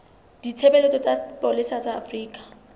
ditshebeletso tsa sepolesa sa afrika